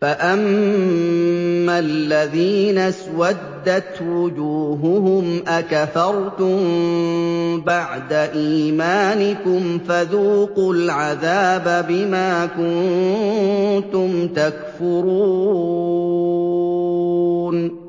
فَأَمَّا الَّذِينَ اسْوَدَّتْ وُجُوهُهُمْ أَكَفَرْتُم بَعْدَ إِيمَانِكُمْ فَذُوقُوا الْعَذَابَ بِمَا كُنتُمْ تَكْفُرُونَ